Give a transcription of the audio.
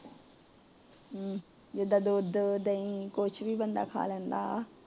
ਹਮ ਜਿਦਾਂ ਦੁੱਧ ਦਹੀਂ ਕੁਛ ਵੀ ਬੰਦਾ ਖਾ ਲੈਂਦਾ